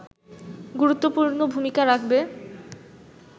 গুরুত্বপূর্ণ ভূমিকা রাখবে